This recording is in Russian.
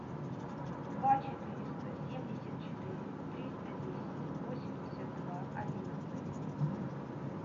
два четыреста семьдесят четыре триста десять восемьдесят два одиннадцать